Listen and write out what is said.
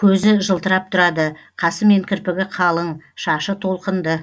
көзі жылтырап тұрады қасы мен кірпігі қалың шашы толқынды